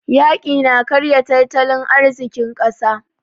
Yaƙi na karya tattalin arzikin ƙasa.